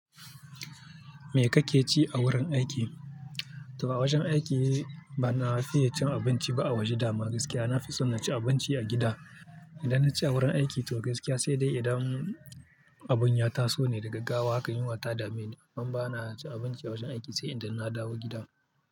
Me kake ci a wurin aiki? To a wajan aiki ba na fiye cin abinci ba a waje dama gaskiya. Nafi son na ci abinci a gida. Idan na ci a wurin aiki to gaskiya sai dai idan abun ya taso ne da gaggawa haka yunwa ta dame. Amma ba na cin abinci a wajen aiki sai idan na dawo gida.